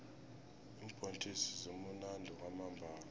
iimbhontjisi zimunandi kwamambhala